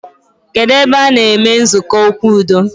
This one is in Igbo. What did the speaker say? Kedụ ebe a-na eme nzukọ okwu udo